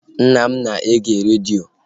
Nna m na-ege redio